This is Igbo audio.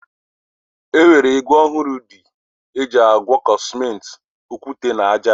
E nwere ígwè ọhụrụ ndị eji agwọkọ Simenti, okwute na ájá.